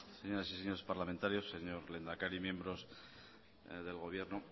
señoras y señores parlamentarios señor lehendakari miembros del gobierno